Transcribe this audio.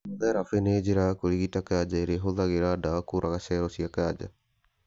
Kemotherapĩ nĩ njĩra ya kũrigita kanja ĩrĩa ĩhũthĩraga ndawa kũraga cero cia kanja